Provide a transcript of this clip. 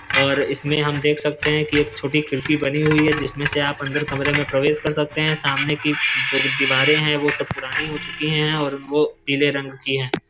और इसमें हम देख सकते कि एक छोटी खिड़की बनी हुई है जिसमें से आप अंदर कमरे में प्रवेश कर सकते है। सामने की जो दीवारें है वो सब पुरानी हो चुकी है और वो पीले रंग की है।